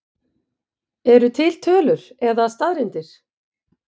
Eru til tölur eða staðreyndir?